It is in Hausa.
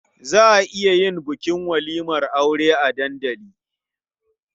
Za a iya yin bukin walimar aure a dandali.